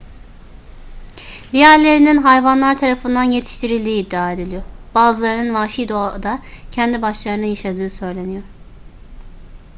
diğerlerinin hayvanlar tarafından yetiştirildiği iddia ediliyor bazılarının vahşi doğada kendi başlarına yaşadığı söyleniyor